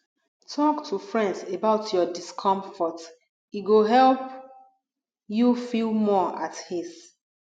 talk to friends about your discomfort e go help you feel more at ease